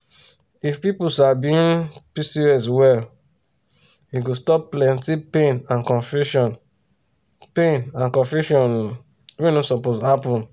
if people sabi um pcos well e go stop plenty pain and confusion pain and confusion um wey no suppose happen.